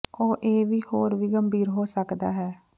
ਉਹ ਇਹ ਵੀ ਹੋਰ ਵੀ ਗੰਭੀਰ ਹੋ ਸਕਦਾ ਹੈ